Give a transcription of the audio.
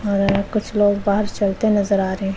आ रहा है कुछ लोग बाहर चलते नजर आ रहे--